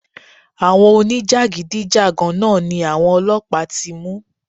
Àwọn oní jàgídíjàgan náà ni àwọn ọlọ́pàá ti mú.